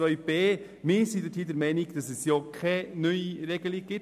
Buchstabe b sind wir der Meinung, dass es keine neue Regelung gibt.